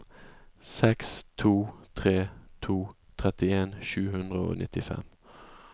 seks to tre to trettien sju hundre og nittifem